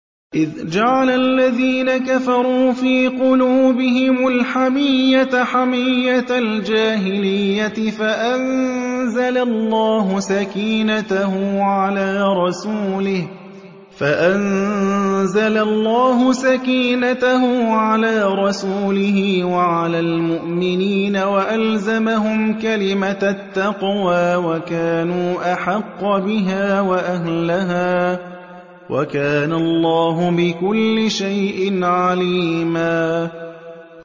إِذْ جَعَلَ الَّذِينَ كَفَرُوا فِي قُلُوبِهِمُ الْحَمِيَّةَ حَمِيَّةَ الْجَاهِلِيَّةِ فَأَنزَلَ اللَّهُ سَكِينَتَهُ عَلَىٰ رَسُولِهِ وَعَلَى الْمُؤْمِنِينَ وَأَلْزَمَهُمْ كَلِمَةَ التَّقْوَىٰ وَكَانُوا أَحَقَّ بِهَا وَأَهْلَهَا ۚ وَكَانَ اللَّهُ بِكُلِّ شَيْءٍ عَلِيمًا